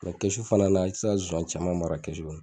fana na i ti se ka nsonsan caman mara kɔnɔ.